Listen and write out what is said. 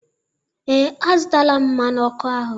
Ee, azụtaala m mmanụ ọkụ ahụ.